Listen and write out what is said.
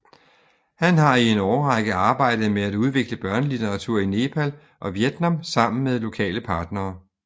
Han har i en årrække arbejdet med at udvikle børnelitteratur i Nepal og Vietnam sammen med lokale partnere